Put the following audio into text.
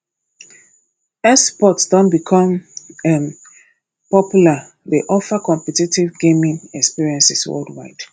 esports don become um popular dey offer competitive gaming experiences worldwide